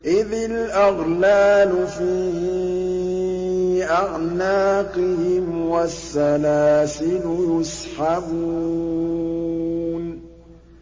إِذِ الْأَغْلَالُ فِي أَعْنَاقِهِمْ وَالسَّلَاسِلُ يُسْحَبُونَ